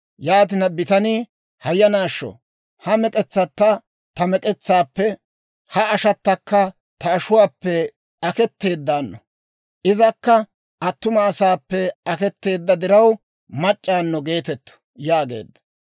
Yaatina bitanii, «Hayanaasho! Ha mek'etsatta ta mek'etsaappe, ha ashattakka ta ashuwaappe aketteeddawunno; izakka attuma asaappe aketeedda diraw, mac'c'awunno geetettu» yaageedda.